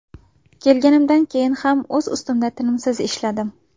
Kelganimdan keyin ham o‘z ustimda tinimsiz ishladim.